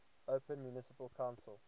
open municipal council